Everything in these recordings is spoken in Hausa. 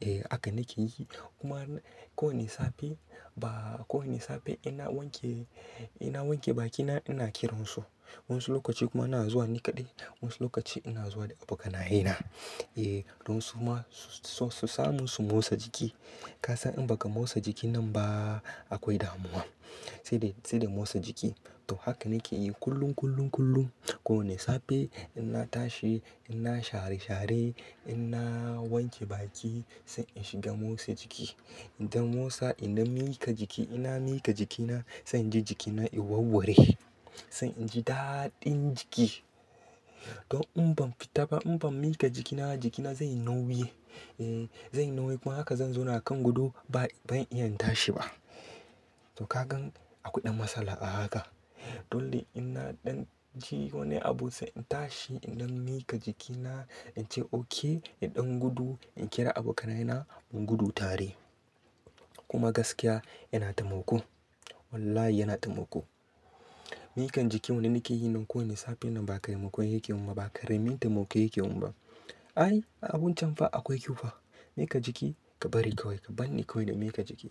Eh haka nake yi. Kuma ko wane safe ba, ko wane safe in na wanke, in na wanke bakina ina kiransu. Wani lokaci kuma ina zuwa ni kaɗai. Wasu lokaci ina zuwa da abokanaye na. Eh don su ma su, su samu su motsa jiki. Ka san in baka motsa jiki nan ba akwai damuwa. Sai dai, sai dai motsa jiki. To haka nake yi kullum, kullum, kullum. Ko wane safe in na tashi, in na share share, in na wanke baki sai in shiga motsa jiki. In dan motsa in dan miƙa jiki, in na miƙa jikina sai in ji jikina ya warware. Sai in ji daɗin jiki. Don in ban fita ba, in ban miƙa jikina jikina zai yi nauyi. Eh zai yi nauyi kuma haka zan zauna kan gudu ba, ban iya in tashi ba. To ka gan akwai ɗan matsala a haka. Don dai in na ɗan je wani abun sai in tashi, in dan miƙa jikina, ince oke, idan gudu, in kira abokanaye na mu gudu tare. Kuma gaskiya yana tamako. Wallahi yana tamako. Mikan jiki wanne nake yi nan ko wane safe nan ba ƙaramin tamako yake mun ba, ba ƙaramin tamako yake mun ba. Ai abun can fa akwai kyau fa. Miƙa jiki ka bari kawai ka bar ni kawai da miƙa jiki.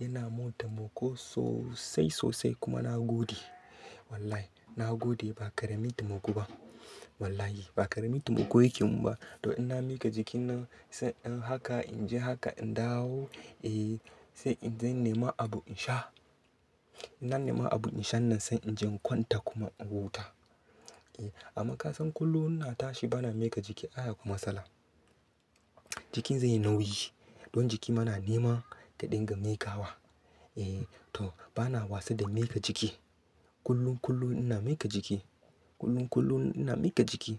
Yana mun tamako sosai, sosai kuma na gode. Wallahi na gode ba ƙarami tamako ba. Wallahi ba ƙarami tamako yake mun ba. To in na miƙa jiki nan sai inyi haka, inji haka, in dawo. Eh sai in je nema abu in sha. Ina nema abu in sha nan sai in je in kwanta kuma in huta. Eh amma ka san kullum ina tashi bana miƙa jiki ayy akwai matsala. Jikin zai yi nauyi. Don jiki ma na nema kaɗinga miƙawa. Eh to bana wasa da miƙa jiki. Kullum, kullum ina miƙa jiki. Kullum, kullum ina miƙa jiki.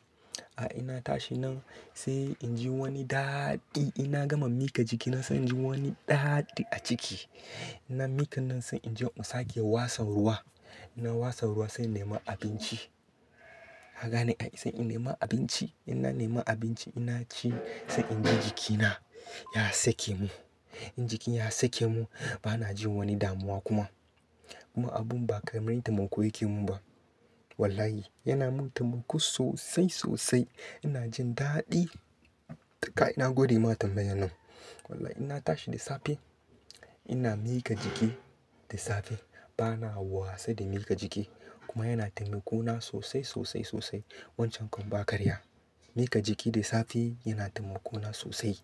Ai in na tashi nan sai inji wani daɗi. In na gama miƙa jiki nan sai inji wani daɗi a jiki. Nan miƙa nan sai in je in sake wasan ruwa. In na wasan ruwa sai in nema abinci. Ka gane ai sai in nema abinci. In na nema abinci ina ci sai in ji jikina ya sake mun. In jiki ya sake mun bana jin wani damuwa kuma. Kuma abun ba ƙaramin tamako yake mun ba. Wallahi yana mun tamako sosai, sosai. Ina jin daɗi. Kai na gode ma tambaye nan. Wallahi ina tashi da safe ina miƙa jiki da safe. Bana wasa da miƙa jiki. Kuma yana tamako na sosai, sosai, sosai. Wancan kuma ba karya. Miƙa jiki da safe yana tamako na sosai.